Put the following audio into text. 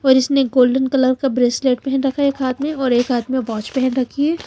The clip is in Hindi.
और इसने गोल्डन कलर का ब्रेसलेट पहन रखा है एक हाथ में और एक हाथ में वाच पहन रखी है।